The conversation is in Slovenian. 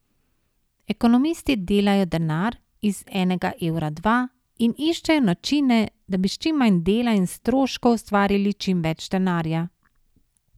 Ekonomisti delajo denar, iz enega evra dva, in iščejo načine, da bi s čim manj dela in stroškov ustvarili čim več denarja.